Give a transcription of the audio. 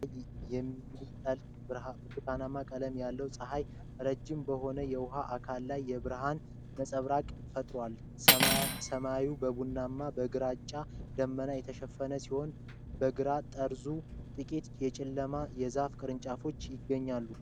አድማስ ላይ የሚጠልቅ ብርቱካናማ ቀለም የለው ፀሐይ፣ ረጅም በሆነ የውሃ አካል ላይ የብርሃን ነጸብራቅ ፈጥሯል። ሰማዩ በቡናማና በግራጫ ደመናዎች የተሸፈነ ሲሆን፣ በግራ ጠርዙ ጥቂት የጨለመ የዛፍ ቅርንጫፎች ይገኛሉ።